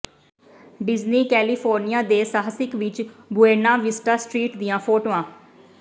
Disney California ਦੇ ਸਾਹਿਸਕ ਵਿੱਚ ਬੁਏਨਾ ਵਿਸਟਾ ਸਟ੍ਰੀਟ ਦੀਆਂ ਫੋਟੋਆਂ